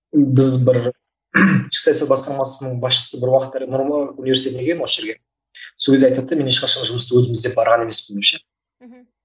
ііі біз бір ішкі саясат басқармасының басшысы бір уақыттары нұр мүбарак университетіне келген осы жерге сол кезде айтады да мен ешқашан жұмысты өзім іздеп барған емеспін деп ше мхм